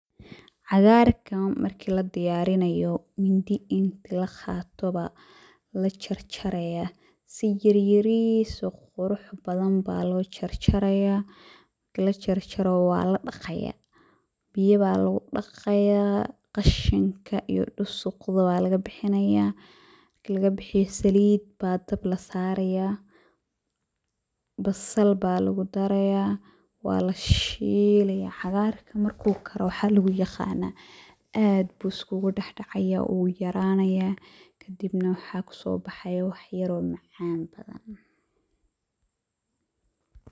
Cagarkan marki ladiyarinayo mindhi intii laqato aya lajarjaraya aya si yaryaris oo qurux badan aya lojarjaraya biyo aya lugudaqaya qashinka iyo dusuqa aya lagabixinaya marki lagabixiyo salid aya dabka lasaraya basal aya lugudaraya walashilaya. Cagarku marku karo waxa luguyaqana aad ayu iskugudhexdacaya wuyaranaya kadib waxa kasobaxaya wax yaro macan.